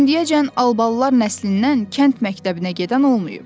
İndiyəcən Albalılar nəslindən kənd məktəbinə gedən olmayıb.